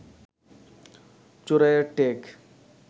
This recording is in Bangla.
চোরাইয়ের টেক